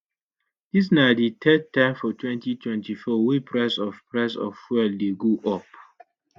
dis na di third time for 2024 wey price of price of fuel dey go up